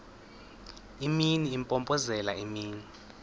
imini impompozelela imini